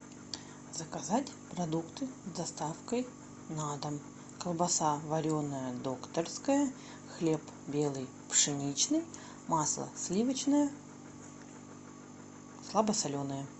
заказать продукты с доставкой на дом колбаса вареная докторская хлеб белый пшеничный масло сливочное слабосоленое